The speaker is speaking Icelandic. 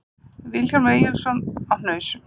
Vilhjálmur Eyjólfsson á Hnausum